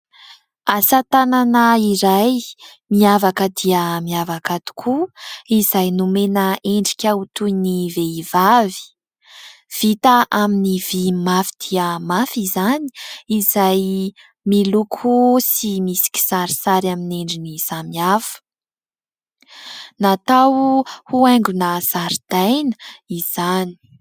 Asatanana iray miavaka dia miavaka tokoa izay nomena endrika ho toy ny vehivavy, vita amin'ny vy mafy dia mafy izany, izay miloko sy misy kisarisary amin'ny endriny samihafa, natao ho haingona zaridaina izany.